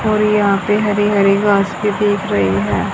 और यहां पे हरी हरी घास भी दिख रही है।